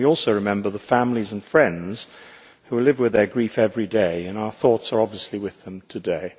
We also remember the families and friends who live with their grief every day, and our thoughts are obviously with them today.